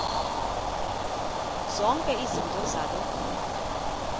zonke izinto zaloo